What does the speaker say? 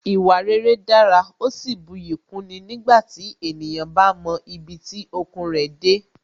Ìwà rere dára, ó sì buyì kúni nígbàtí ènìyàn bá mọ ibi tí okun rẹ̀ dé